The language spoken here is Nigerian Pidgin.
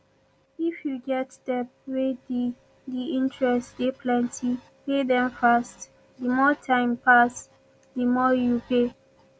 if you get debt wey di di interest dey plenty pay dem fast di more time pass di more you pay